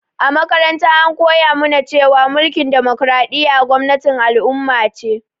A makaranta an koya mu na cewa mulkin damokaraɗiya gwamnatin al'umma ce